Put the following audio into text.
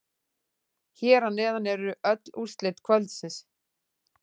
Hér að neðan eru öll úrslit kvöldsins.